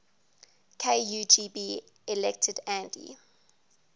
kugb elected andy